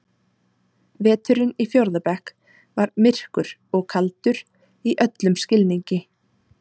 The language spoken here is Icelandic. Veturinn í fjórða bekk var myrkur og kaldur í öllum skilningi.